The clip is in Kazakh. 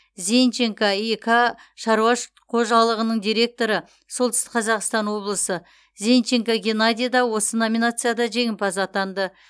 зенченко ик шаруа қожалығының директоры солтүстік қазақстан облысы зенченко геннадий да осы номинацияда жеңімпаз атанды